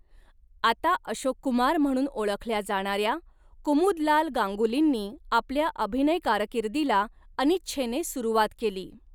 आता अशोक कुमार म्हणून ओळखल्या जाणाऱ्या कुमुदलाल गांगुलींनी आपल्या अभिनय कारकिर्दीला अनिच्छेने सुरुवात केली.